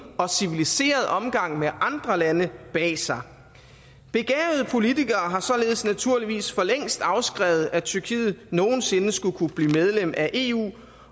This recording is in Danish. og civiliseret omgang med andre lande bag sig begavede politikere har således naturligvis for længst afskrevet at tyrkiet nogen sinde skulle kunne blive medlem af eu